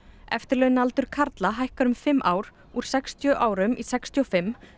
eftirlaunaaldur karla hækkar um fimm ár úr sextíu árum í sextíu og fimm